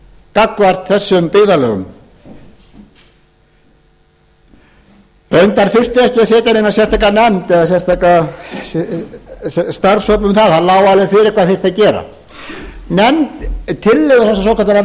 gagnvart þessum byggðarlögum reyndar þurfti ekki að setja neina sérstaka nefnd eða sérstakan starfshóp um það það lá alveg fyrir hvað þyrfti að gera tillögur þessarar svokölluðu